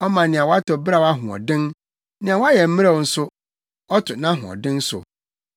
Ɔma nea watɔ beraw ahoɔden nea wayɛ mmerɛw nso, ɔto nʼahoɔden so.